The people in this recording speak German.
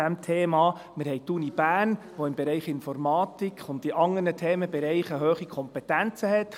Wir haben die Universität Bern, die im Bereich Informatik und bei anderen Themenbereichen hohe Kompetenzen hat.